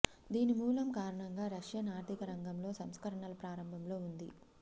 దీని మూలం కారణంగా రష్యన్ ఆర్ధిక రంగంలో సంస్కరణల ప్రారంభంలో ఉంది